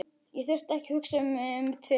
Ég þurfti ekki að hugsa mig um tvisvar.